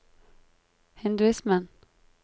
hinduismen